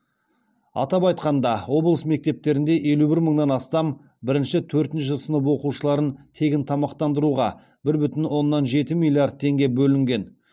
атап айтқанда облыс мектептерінде елу бір мыңнан астам бірінші төртінші сынып оқушыларын тегін тамақтандыруға бір бүтін оннан жеті миллиард теңге бөлінген